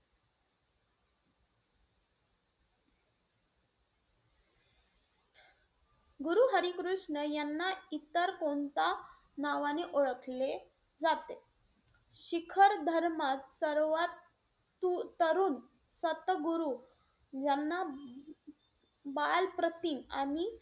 कृष्ण यांना इतर कोणत्या नावाने ओळखले जाते? शिखर धर्मात सर्वात तरुण सतगुरु ज्यांना बाल प्रतिम आणि,